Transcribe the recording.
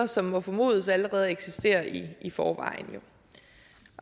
som må formodes allerede at eksistere i i forvejen